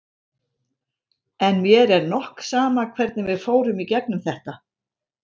En mér er nokk sama hvernig við fórum í gegnum þetta.